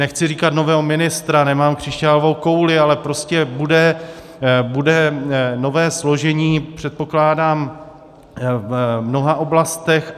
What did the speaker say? Nechci říkat nového ministra, nemám křišťálovou kouli, ale prostě bude nové složení, předpokládám, v mnoha oblastech.